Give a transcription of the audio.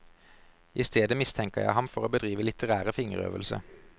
I stedet mistenker jeg ham for å bedrive litterære fingerøvelser.